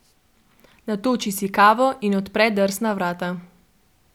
Natoči si kavo in odpre drsna vrata.